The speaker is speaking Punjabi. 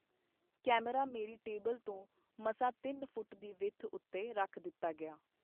ਕੈਮਰਾ ਮੇਰੀ ਟੇਬਲ ਤੋਂ ਮਸਾਂ ਤਿੰਨ ਫੁਟ ਦੀ ਵਿੱਥ ਉਤੇ ਰੱਖ ਦਿੱਤਾ ਗਿਆ.